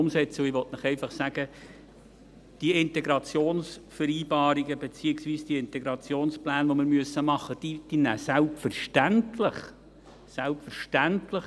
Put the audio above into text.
Ich will Ihnen einfach sagen: Diese Integrationsvereinbarungen, beziehungsweise die Integrationspläne, die wir machen müssen, nehmen selbstverständlich – selbstverständlich!